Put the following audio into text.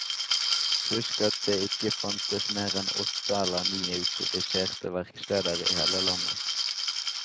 Husk at det ikke fantes mer enn åtte eller ni autoriserte verksteder i hele landet.